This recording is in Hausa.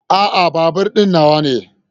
A'a, babur din nawa ne.